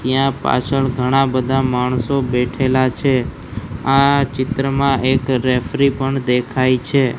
ત્યાં પાછળ ઘણા બધા માણસો બેઠેલા છે આ ચિત્રમાં એક રેફ્રી પણ દેખાય છે.